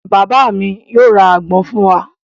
Bàbá mi yóò ra àgbọn fún wa.